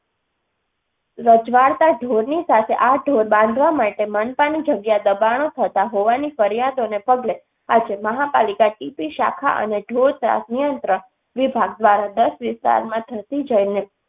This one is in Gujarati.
રજવાડતા ઢોરની સાથે આ ઢોર બાંધવા માટે મનપાની જગ્યા દબાણો થતાં હોવાની ફરિયાદોને પગલે આજે મહાપાલિકા ટીપી શાખા અને ઢોર ત્રાસ નિયંત્રણ વિભાગ દ્વારા દસ વિસ્તારમાં ધસી જઈને